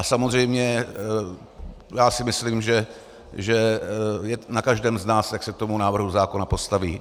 A samozřejmě já si myslím, že je na každém z nás, jak se k tomu návrhu zákona postaví.